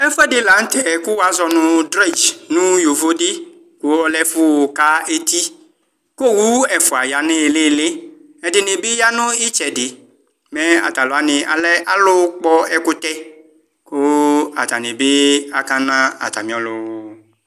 Ɛfʋɛdi lanʋtɛ kv wazɔnʋ drɛdz nʋ yovodi kʋ ɔlɛ ɛfʋka eti owʋ ɛfʋa yanʋ ilili ɛdini bi yanʋ itsɛdi mɛ atalʋ wani alɛ alʋkpɔ ɛkʋtɛ kʋ atani bi akana atami ɔlʋ